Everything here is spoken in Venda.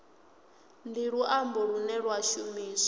ndi luambo lune lwa shumiswa